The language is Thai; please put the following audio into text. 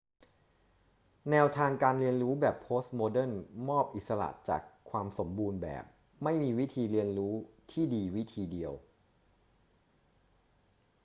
แนวทางการเรียนรู้แบบโพสต์โมเดิร์นมอบอิสระจากความสมบูรณ์แบบ ไม่มีวิธีเรียนรู้ที่ดีวิธีเดียว